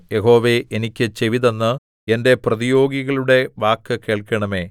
യഹോവേ എനിക്ക് ചെവിതന്ന് എന്റെ പ്രതിയോഗികളുടെ വാക്കു കേൾക്കണമേ